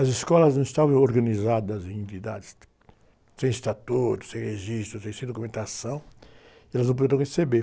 As escolas não estavam organizadas em unidades, sem estatuto, sem registro, sem, sem documentação, e elas não puderam receber.